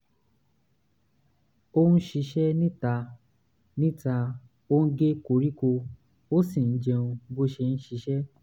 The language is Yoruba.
ó ń ṣiṣẹ́ níta níta ó ń gé koríko ó sì ń jẹun bó ṣe ń ṣiṣẹ́